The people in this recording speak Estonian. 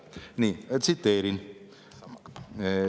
Nii, ma tsiteerin.